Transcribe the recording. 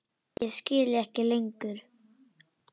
Ég skil þig ekki lengur.